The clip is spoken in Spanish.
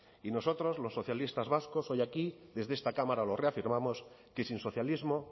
y nosotros los socialistas vascos hoy aquí desde esta cámara lo reafirmamos que sin socialismo